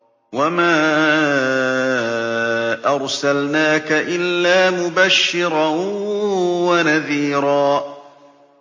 وَمَا أَرْسَلْنَاكَ إِلَّا مُبَشِّرًا وَنَذِيرًا